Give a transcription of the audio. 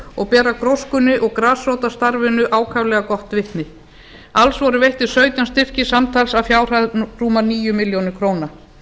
og bera gróskunni og grasrótarstarfinu ákaflega gott vitni alls voru veittir sautján styrkir samtals að fjárhæð rúmar níu milljónir króna